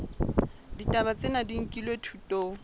ditaba tsena di nkilwe thutong